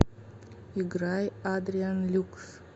играй адриан люкс